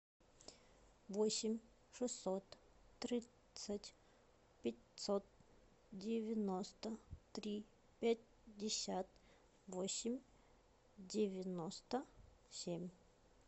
восемь шестьсот тридцать пятьсот девяносто три пятьдесят восемь девяносто семь